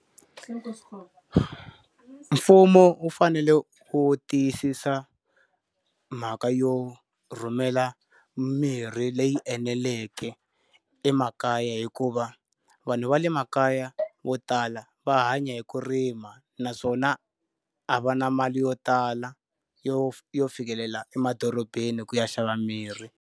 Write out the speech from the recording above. Mfumo wu fanele wu tiyisisa mhaka yo rhumela mirhi leyi eneleke emakaya hikuva, vanhu va le makaya vo tala va hanya hi ku rima naswona a va na mali yo tala yo yo fikelela emadorobeni ku ya xava mirhi.